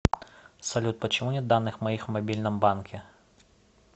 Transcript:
салют почему нет данных моих в мобильном банке